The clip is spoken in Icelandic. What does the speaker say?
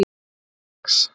laugardags